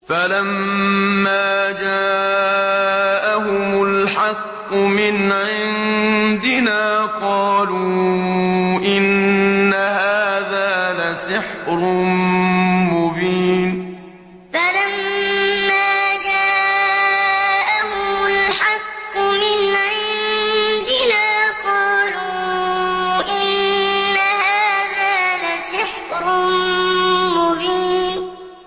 فَلَمَّا جَاءَهُمُ الْحَقُّ مِنْ عِندِنَا قَالُوا إِنَّ هَٰذَا لَسِحْرٌ مُّبِينٌ فَلَمَّا جَاءَهُمُ الْحَقُّ مِنْ عِندِنَا قَالُوا إِنَّ هَٰذَا لَسِحْرٌ مُّبِينٌ